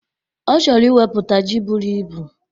Ọ chọrọ iwepụta ji buru ibu.